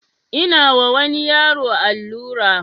Ina wa wani yaro allura